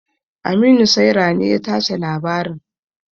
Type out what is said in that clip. Aminu saira ne ya tace labarin.